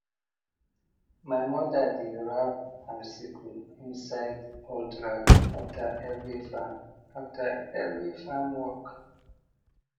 my mother dey wrap her sickle inside old rag after every farm after every farm work